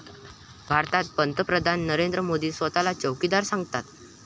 भारतात पंतप्रधान नरेंद्र मोदी स्वतःला चौकीदार सांगतात.